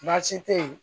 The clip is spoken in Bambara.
Baasi tɛ yen